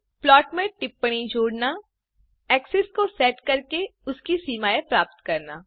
plot में टिप्पणी जोडना एक्सेस को सेट करके उसकी सीमाएँ प्राप्त करना